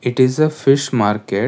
this is a fish market.